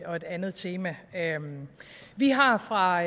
og et andet tema vi har fra